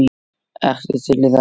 Ertu til í það?